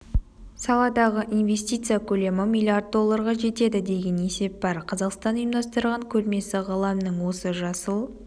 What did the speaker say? саладағы инвестиция көлемі миллиард долларға жетеді деген есеп бар қазақстан ұйымдастырған көрмесі ғаламның осы жасыл